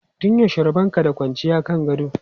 Tun yaushe rabon ka da kwanciya kan gado?